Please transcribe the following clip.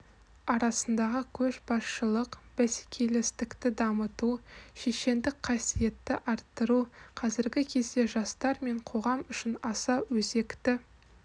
арасындағы көшбасшылық бәсекелестікті дамыту шешендік қасиетті арттыру қазіргі кезде жастар мен қоғам үшін аса өзекті